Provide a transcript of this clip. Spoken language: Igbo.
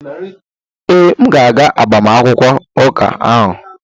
Ee, m ga-aga agbamakwụkwọ ụka ahụ